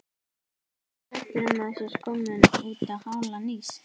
Nú er ég hræddur um að þú sért kominn útá hálan ís.